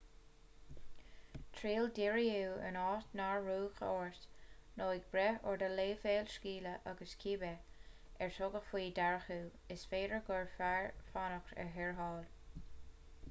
triail díriú in áit nár rugadh ort nó ag brath ar do leibhéal scile agus cibé ar tugadh faoi deara thú is féidir gurbh fhearr fanacht ar tharrtháil